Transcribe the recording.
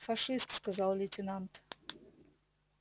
фашист сказал лейтенант